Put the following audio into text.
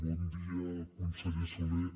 bon dia conseller solé